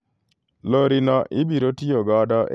Lori no ibiro tiyo godo e tije ohala e piny mar Arua.